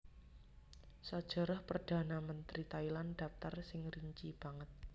Sajarah Perdhana Mentri Thailand dhaptar sing rinci banget